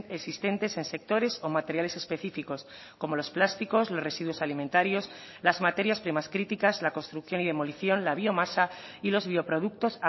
existentes en sectores o materiales específicos como los plásticos los residuos alimentarios las materias primas críticas la construcción y demolición la biomasa y los bioproductos